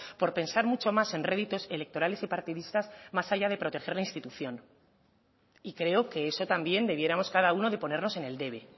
por pensar mucho más en réditos electorales y partidistas más allá de proteger la institución y creo que eso también debiéramos cada uno de ponernos en el debe